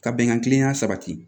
Ka bɛnkan kiliyan sabati